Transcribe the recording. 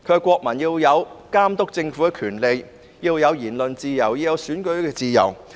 國民要有監督政府的權利、言論自由、選舉自由。